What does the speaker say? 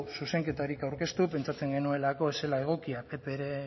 zuzenketarik aurkeztu pentsatzen genuelako ez zela egokia ppren